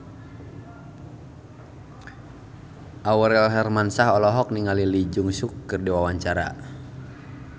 Aurel Hermansyah olohok ningali Lee Jeong Suk keur diwawancara